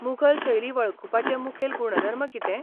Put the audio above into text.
मुघल शैली वळखुपाचे मुखेल गुणधर्म कितें?